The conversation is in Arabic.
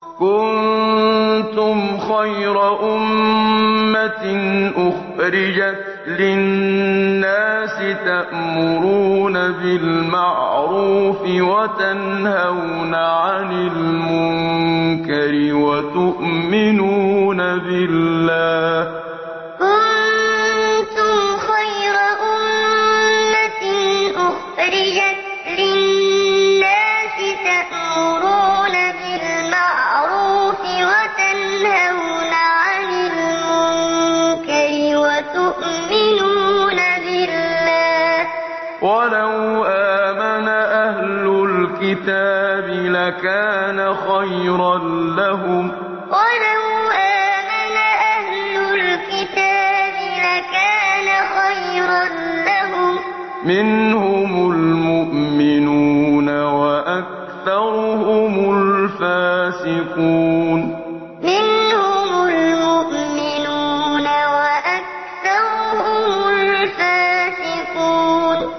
كُنتُمْ خَيْرَ أُمَّةٍ أُخْرِجَتْ لِلنَّاسِ تَأْمُرُونَ بِالْمَعْرُوفِ وَتَنْهَوْنَ عَنِ الْمُنكَرِ وَتُؤْمِنُونَ بِاللَّهِ ۗ وَلَوْ آمَنَ أَهْلُ الْكِتَابِ لَكَانَ خَيْرًا لَّهُم ۚ مِّنْهُمُ الْمُؤْمِنُونَ وَأَكْثَرُهُمُ الْفَاسِقُونَ كُنتُمْ خَيْرَ أُمَّةٍ أُخْرِجَتْ لِلنَّاسِ تَأْمُرُونَ بِالْمَعْرُوفِ وَتَنْهَوْنَ عَنِ الْمُنكَرِ وَتُؤْمِنُونَ بِاللَّهِ ۗ وَلَوْ آمَنَ أَهْلُ الْكِتَابِ لَكَانَ خَيْرًا لَّهُم ۚ مِّنْهُمُ الْمُؤْمِنُونَ وَأَكْثَرُهُمُ الْفَاسِقُونَ